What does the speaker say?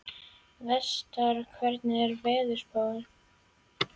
Vestar, hvernig er veðurspáin?